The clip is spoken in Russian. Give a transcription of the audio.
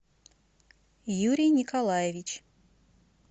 юрий николаевич